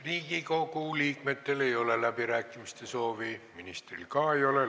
Riigikogu liikmetel ei ole läbirääkimiste soovi, ministril ka ei ole.